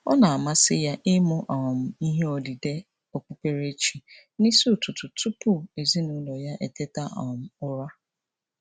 Ọ na-amasị ya ịmụ um ihe odide okpukperechi n'isi ụtụtụ tụpụ ezinaụlọ ya eteta um ụra.